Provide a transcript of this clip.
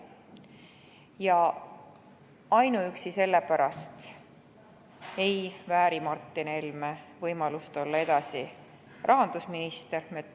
Juba ainuüksi selle pärast ei vääri Martin Helme võimalust olla edasi rahandusminister.